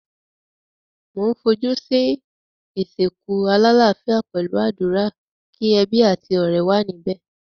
Mo n fojú si ìsìnkú alálafíà pẹ̀lu àdúrà, ki ebí àti ọ̀rẹ́ wa níbẹ̀.